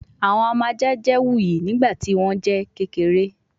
Awọn ọmọ aja jẹ wuyi nigbati wọn jẹ kekere